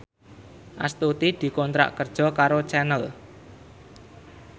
Astuti dikontrak kerja karo Channel